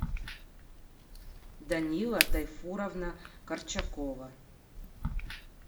данила тайфуровна корчакова